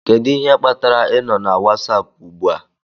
Kedu ihe kpatara ị nọ na Wasapu ugbu a?